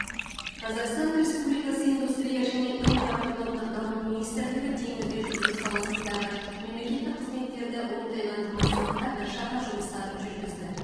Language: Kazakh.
қазақстан республикасы индустрия және инфрақұрылымдық даму министрлігі теңізде жүзу саласындағы мемлекеттік қызметтерді оңтайландыру мақсатында біршама жұмыстар жүргізді